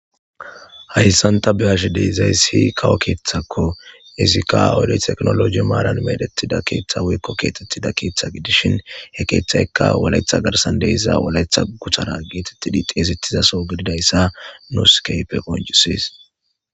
hayssanta beyash deizay si kawo keeththakko izikka awale teknoloji maaran medettida keeththa woykko keetettida keeththa gidishin he keeththaykka walaetha garsan de iza walaeetha gutara geetettidi xeesettizaso gididayssa nuuskeype qonjusis